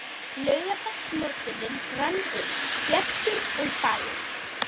Laugardagsmorgunninn rann upp bjartur og fagur.